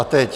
A teď...